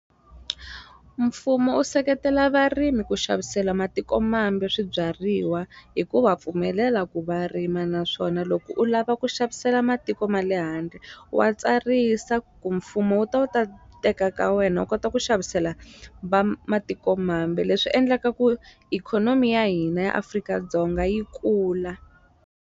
Mfumo u seketela varimi ku xavisela matikomambe swibyariwa hi ku va pfumelela ku va rima naswona loko u lava ku xavisela matiko ma le handle wa tsarisa ku mfumo wu ta wu ta teka ka wena u kota ku xavisela va matiko mambe leswi endlaka ku ikhonomi ya hina ya Afrika-Dzonga yi kula.